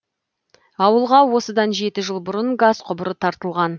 ауылға осыдан жеті жыл бұрын газ құбыры тартылған